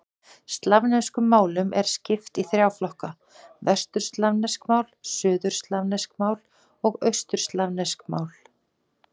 Slavneskum málum er skipt í þrjá flokka: vesturslavnesk mál, suðurslavnesk mál og austurslavnesk mál.